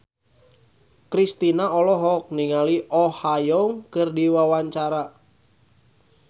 Kristina olohok ningali Oh Ha Young keur diwawancara